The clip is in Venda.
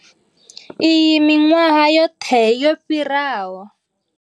Iyi miṅwahani yoṱhe yo fhiraho.